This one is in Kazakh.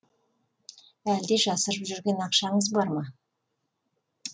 әлде жасырып жүрген ақшаңыз бар ма